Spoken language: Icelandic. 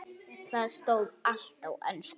Þar stóð allt á ensku.